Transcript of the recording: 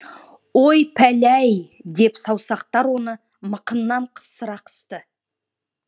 ой пәлі ай деп саусақтар оны мықынынан қапсыра қысты